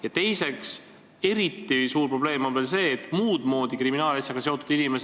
Ja teiseks, eriti suur probleem puudutab nn muud moodi kriminaalasjaga seotud inimesi.